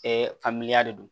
faamuya de don